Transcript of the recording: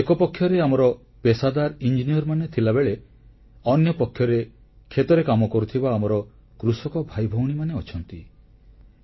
ଏହାର ଏକପକ୍ଷରେ ଆମର ପେଷାଦାର ଇଞ୍ଜିନିୟରମାନେ ଥିଲାବେଳେ ଅନ୍ୟପକ୍ଷରେ କ୍ଷେତରେ କାମ କରୁଥିବା ଆମର କୃଷକ ଭାଇଭଉଣୀମାନେ ଅଛନ୍ତି